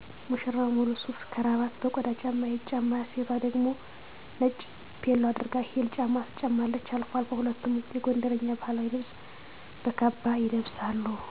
ሙሽራው ሙሉ ሱፍ ከራባት በቆዳ ጫማ ይጫማል እሴቷ ደግሞ ነጭ ፔሎ አድርጋ ሂል ጫማ ትጫማለች አልፎ አልፎ ሁለቱም የጎንደረኛ ባህላዊ ልብስ በካባ ይለብሳሉ።